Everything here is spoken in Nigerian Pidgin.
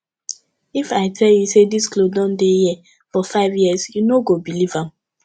if i tell you say dis cloth don dey here for five years you no go believe am